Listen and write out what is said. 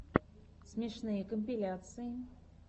смешные компиляции